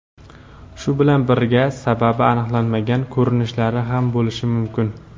Shu bilan birga sababi aniqlanmagan ko‘rinishlari ham bo‘lishi mumkin.